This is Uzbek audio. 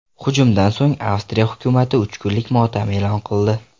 Hujumdan so‘ng Avstriya hukumati uch kunlik motam e’lon qildi.